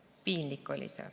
See oli piinlik.